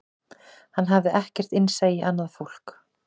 Hann hafði ekkert innsæi í annað fólk